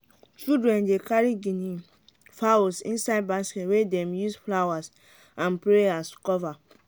children dey carry guinea fowls inside basket wey them use flowers and prayers cover.